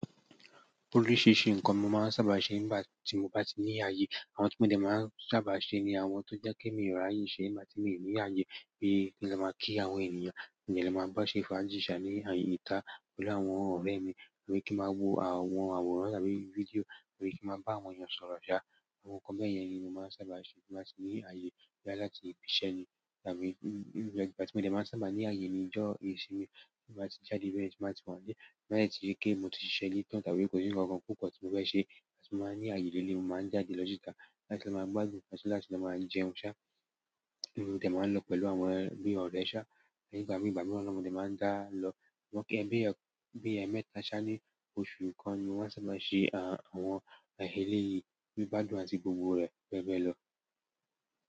Oríṣiríṣi nǹkan ni mo máa ń sábà ṣe nígbà tí mo bá ní ààyè. Àwọn tí mo dẹ̀ máa ń sábà ṣe ni àwọn tó jẹ́ pe mi o ri àyè ṣe nígbà tí mi ò ní ààyè, bí i kí n lo máa kí àwọn ènìyàn, kí n máa bá a ṣe ìfàjí ṣà ní ita pẹ̀lú àwọn ọ̀rẹ́ mi, kí n máa wo àwọn àwòrán tàbí fídíò, kí n máa bá àwọn èèyàn sọ̀rọ̀ ṣá. Àwọn nǹkan bẹ́yẹn ni mo máa ń sábà sẹ nígbà tí mo ní ààyè láti ibi iṣẹ́ ni tàbí nígbà tí mo dẹ̀ máa ń sábà ní ààyè ní ìjọ ìsinmi tí mo bá ti jáde bẹ́ẹ̀ tí mo bá ti mo pé. Bí mo bá de ti rí pé mo ti ṣiṣẹ́ mi tán tàbí kò sí nǹkan kan púpọ̀ tí mo fẹ́ ṣe, tí mo bá ní ààyè lẹ́leyii, mo máa ń jáde lọ síta láti lo máa gbàdún, láti máa jẹun ṣá, mo de máa lọ pẹ̀lú àwọn bi ọ̀rẹ́ ṣá, nígbà mìíràn mo dẹ̀ máa ń dá lọ. Bi ẹmẹ́ta ṣá ní oṣù kan ni mo maa n ṣàba máa ṣe àwọn eleyìí, gbígbàdùn àti gbogbo rẹ̀ bẹ́ẹ̀ bẹ́ẹ̀ lọ.